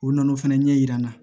U nana o fana ɲɛ yira n na